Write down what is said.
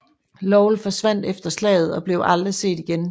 Lovell forsvandt efter slaget og blev aldrig set igen